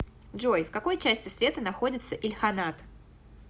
джой в какой части света находится ильханат